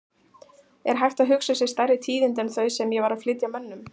Er hægt að hugsa sér stærri tíðindi en þau sem ég var að flytja mönnum?!